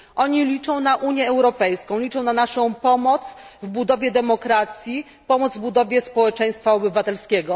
Oni liczą na Unię Europejską, liczą na naszą pomoc w budowie demokracji, pomoc w budowie społeczeństwa obywatelskiego.